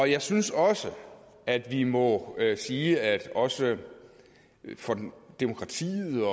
jeg synes også at vi må sige at det også for demokratiet